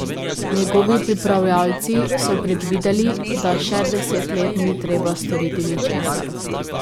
Njegovi pripravljavci so predvideli, da še deset let ni treba storiti ničesar.